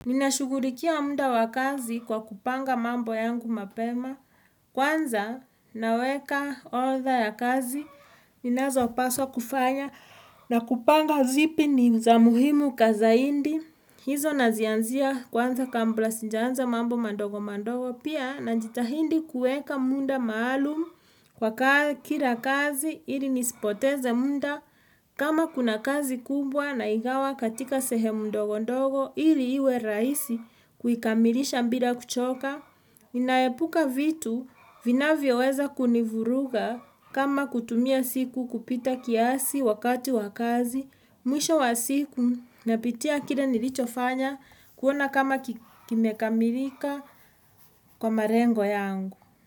Ninashughulikia muda wa kazi kwa kupanga mambo yangu mapema. Kwanza, naweka orodha ya kazi. Ninazopaswa kufanya na kupanga zipi ni za muhimu kwa zaidi hizo nazianzia kwanza kabla sijaanza mambo madogo madogo. Pia, na njitahidi kuweka muda maalumu kwa kila kazi ili nisipoteze muda. Kama kuna kazi kubwa naigawa katika sehemu ndogo ndogo ili iwe rahisi kuikamilisha bila kuchoka, inaepuka vitu vinavyoweza kunivuruga kama kutumia siku kupita kiasi wakati wa kazi, mwisho wa siku napitia kile nilichofanya kuona kama kimekamilika kwa malengo yangu.